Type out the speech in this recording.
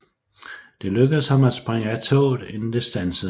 Det lykkedes ham at springe af toget inden det standsede